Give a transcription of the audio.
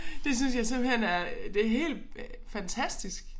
Det synes jeg simpelthen er det helt fantastisk